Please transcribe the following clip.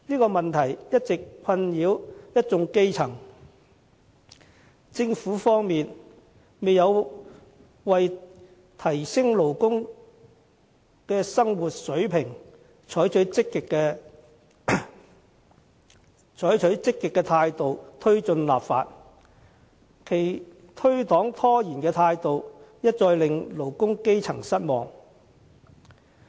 這問題一直困擾一眾基層，政府方面卻沒有為提升勞工的生活水平，採取積極的態度推行立法，其推搪拖延的態度又一再令勞工基層失望。